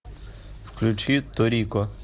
включи торико